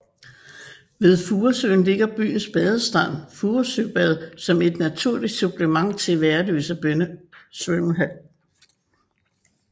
Ved Furesøen ligger byens badestrand Furesøbad som et naturligt supplement til Værløse Svømmehal